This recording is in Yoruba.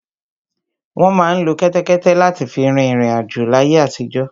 Wọ́n má ń lo kẹ́tẹ́kẹ́té láti fi rin ìriǹ àjò láyé àtijọ́